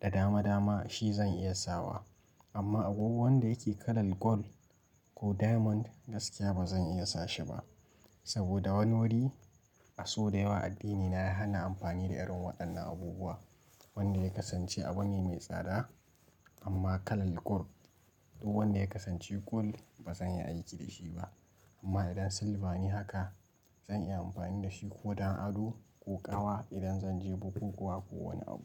da dama dama shi zan iya sawa amma agogo wanda yake kalar gold ko diamond gaskiya ba zan iya sashi ba. Saboda wani wuri a so da yawa addinina ya hana amfani da irin waɗannan abubuwa. Wanda ya kasance abu ne mai tsada amma kalar gold ko wanda ya kasance gold ba zan iya aiki da shi ba. Amma idan silva ne haka zan iya amfani da shi ko don ado ko ƙawa idan zan je bukukuwa ko wane abu.